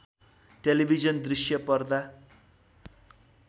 television दृश्य पर्दा